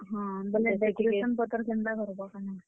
ହଁ, ବେଲେ decoration ପତର୍ କେନ୍ ତା କର୍ ବ କାଣା?